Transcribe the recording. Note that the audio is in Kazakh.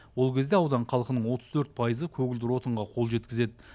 ол кезде аудан халқының отыз төрт пайызы көгілдер отынға қол жеткізеді